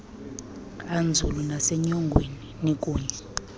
anzulu nasenyongweni nikunye